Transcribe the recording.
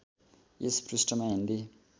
यस पृष्ठमा हिन्दी